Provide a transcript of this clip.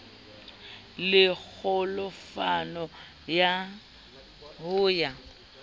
le kgolofalo ya ho ya